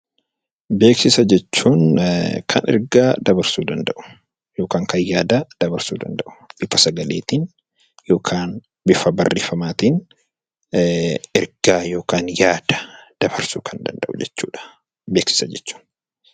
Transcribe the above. Beeksisa jechuun kan ergaa dabarsuu danda'u, yookaan kan yaada dabarsuu danda'u bifa sagaleetiin yookaan bifa barreeffamaatiin ergaa yookiin yaada dabarsuu kan danda'u jechuudha beeksisa jechuun